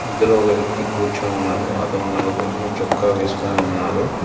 ఇందులో వ్యక్తి కూర్చొని ఉన్నాడు అతను నలుగురు చొక్కా వేసుకొని ఉన్నారు.